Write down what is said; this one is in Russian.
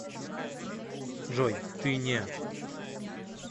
джой ты не